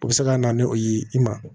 O bɛ se ka na ni o ye i ma